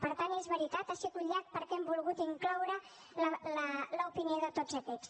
per tant és veritat ha sigut llarg perquè hem volgut incloure l’opinió de tots aquests